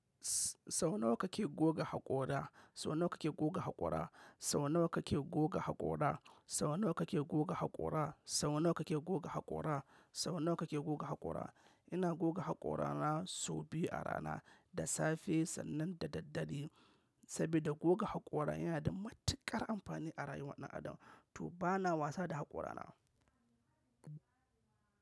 Sau nawa kake goga haƙora? Sau nawa kake goga haƙora? Sau nawa kake goga haƙora? Sau nawa kake goga haƙora? Sau nawa kake goga haƙora? Sau nawa kake goga haƙora? Ina goga haƙorana sau biyu a rana, da safe sannan da daddare. Saboda goga haƙora yana da matuƙar amfani a rayuwar ɗan adam. To bana wasa da haƙorana.